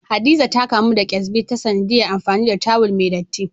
Hadiza ta kamu da kesbi ta sanadiyar amfani da tawul mai dattii.